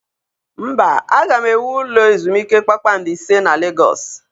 Mba, aga m ewu ụlọ ezumike kpakpando ise na Legọọsị.